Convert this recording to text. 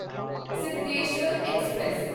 Siddheshwar express